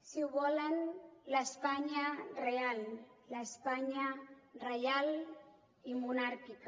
si ho volen l’espanya real l’espanya reial i monàrquica